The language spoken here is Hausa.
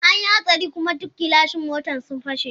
An yi hatsari kuma duk gilashin mota sun fashe.